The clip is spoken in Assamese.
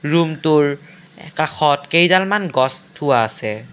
ৰুমটোৰ কাষত কেইডালমান গছ থোৱা আছে।